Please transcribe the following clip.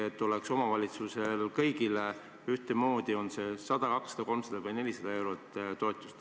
Kas peaks olema kõigis omavalitsustes ühtemoodi, on see toetus siis 100, 200, 300 või 400 eurot?